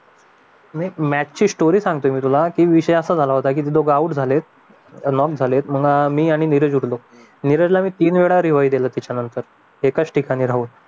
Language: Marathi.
मॅथ्स ची स्टोरी सांगतोय मी तुला की विषय असा झाला की झालं होतं डोकं आउट झालंय लॉक झालय अं मी आणि नीरज उठलो नीरजला मी तीन वेळा रिवाय दिला एकच ठिकाणी राहून